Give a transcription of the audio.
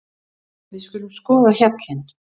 Við skulum skoða hjallinn.